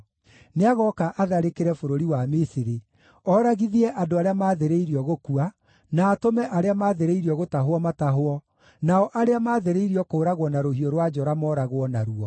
Nĩagooka atharĩkĩre bũrũri wa Misiri, oragithie andũ arĩa maathĩrĩirio gũkua, na atũme arĩa maathĩrĩirio gũtahwo matahwo, nao arĩa maathĩrĩirio kũũragwo na rũhiũ rwa njora mooragwo naruo.